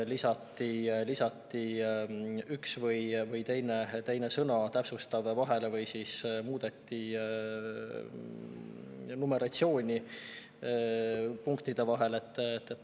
Lisati üks või teine täpsustav sõna vahele või siis muudeti punktide numeratsiooni.